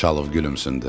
Xanxalov gülümsündü.